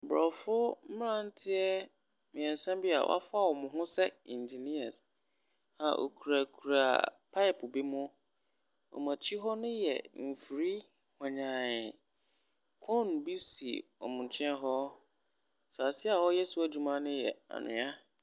Mmorɔfo mmranteɛ mmiɛnsa bi a wafa wɔn ho sɛ inginiɛs a wokura kura paep bi mu. Ɔmo akyi hɔ no yɛ mfiri honyaan. Kon bi si ɔmo nkyɛn hɔ. Asase a wɔyɛ do adwuma no yɛ anwea.